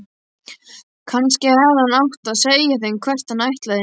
Kannski hefði hann átt að segja þeim hvert hann ætlaði.